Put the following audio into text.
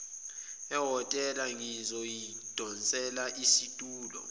ehhotela ngizoyidonsela isitulo